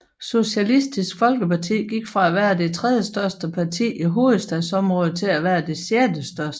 Socialistisk Folkeparti gik fra at være det tredjestørste parti i hovedstadsområdet til at være det sjettestørste